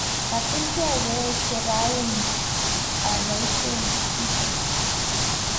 katilgei koeche rauni aboiaien kisu